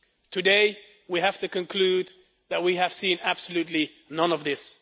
Today, we have to conclude that we have seen absolutely none of this.